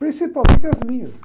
Principalmente as minhas.